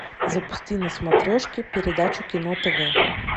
запусти на смотрешки передачу кино тв